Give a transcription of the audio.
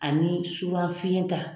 Ani finye ta